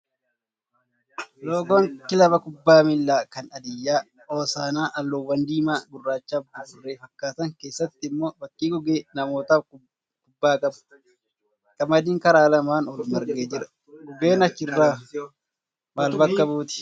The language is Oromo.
Loogoon kilaba kubbaa miilaa kan Hadiyyaa hoosaanaa halluuwwan diimaa, gurraachaa fi buburree fakkaatan keessatti immoo fakkii gugee, namootaa fi kubbaa qaba. Qamadiin karaa lamaan ol marge jira. Gugeen achirraa maal bakka buuti?